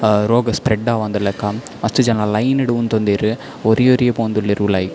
ಆ ರೋಗ ಸ್ಪ್ರೆಡ್ ಆವಂದಿಲಕ ಮಸ್ತ್ ಜನ ಲೈನ್ ಡ್ ಉಂತೊಂದೆರ್ ಒರಿಯೊರಿಯೆ ಪೋವೊಂದುಲ್ಲೆರ್ ಉಲಾಯಿ.